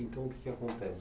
Então, o que que acontece?